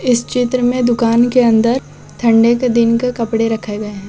इस चित्र में दुकान के अंदर ठंडे के दिन के कपड़े रखे गए हैं।